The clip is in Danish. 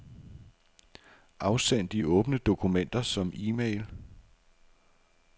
Afsend de åbne dokumenter som e-mail.